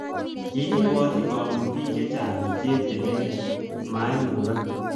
Kikibwotchin komut bik chechang cheptilet .Maimukak